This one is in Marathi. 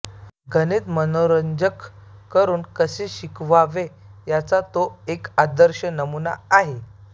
गणित मनोरंजक करून कसे शिकवावे याचा तो एक आदर्श नमुना आहे